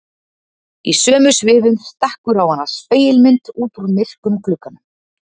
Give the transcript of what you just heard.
Í sömu svifum stekkur á hana spegilmynd út úr myrkum glugganum.